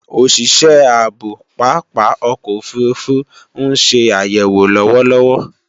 Òsìsẹ́ ààbò pápá ọkọ̀ òfurufú ń se àyèwò lọ́wọ́lọ́wọ́